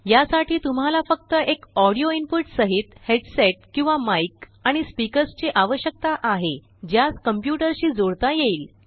यासाठी तुम्हाला फक्तएक ऑडीओ इनपुट सहितहेडसेट किंवामाइक आणिस्पीकर्सचीआवश्यकता आहे ज्यास कम्प्युटरशी जोडता येईल